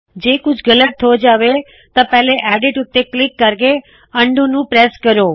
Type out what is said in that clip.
ਜੇ ਕੁੱਛ ਗਲ਼ਤ ਹੋ ਜਾਵੇ ਤਾੰ ਪਹਿਲੇ ਐਡਿਟ ਉਤੇ ਕਲਿੱਕ ਕਰਕੇ ਉਂਦੋ ਅਨਡੂ ਨੂੰ ਪ੍ਰੈਸ ਕਰੋ